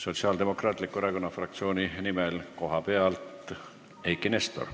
Sotsiaaldemokraatliku Erakonna fraktsiooni nimel koha pealt Eiki Nestor.